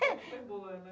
Foi boa, né?